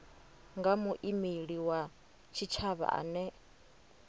nga muimeli wa tshitshavha ane